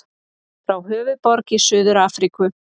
Frá Höfðaborg í Suður-Afríku.